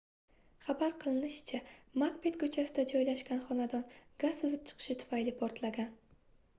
xabar qilinishicha makbet koʻchasida joylashgan xonadon gaz sizib chiqishi tufayli portlagan